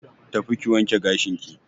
Tafi ki wanke gashinki.